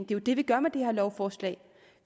jo det vi gør med det her lovforslag